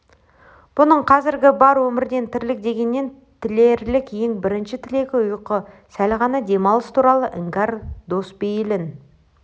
бұның қазіргі бар өмірден тірлік дегеннен тілерлік ең бірінші тілегі ұйқы сәл ғана демалыс туралы іңкәр дос бейілін